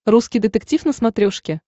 русский детектив на смотрешке